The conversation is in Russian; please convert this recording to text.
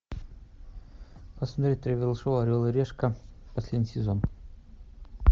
посмотреть тревел шоу орел и решка последний сезон